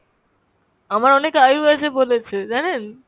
আমার অনেক আয়ু আছে বলেছে জানেন?